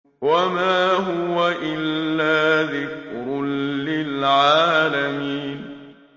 وَمَا هُوَ إِلَّا ذِكْرٌ لِّلْعَالَمِينَ